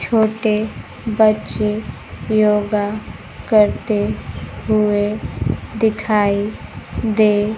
छोटे बच्चे योगा करते हुए दिखाई दे--